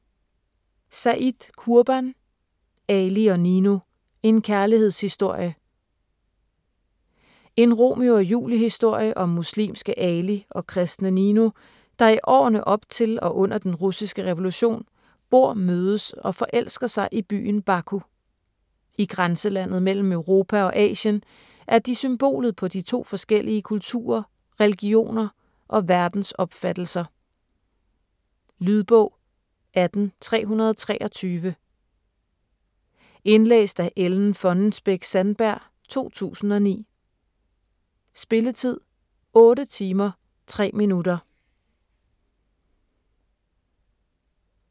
Said, Kurban: Ali & Nino: en kærlighedshistorie En Romeo og Julie historie om muslimske Ali og kristne Nino, der i årene op til og under den russiske revolution bor, mødes og forelsker sig i byen Baku. I grænselandet mellem Europa og Asien er de symbolet på de to forskellige kulturer, religioner og verdensopfattelser. Lydbog 18323 Indlæst af Ellen Fonnesbech-Sandberg, 2009. Spilletid: 8 timer, 3 minutter.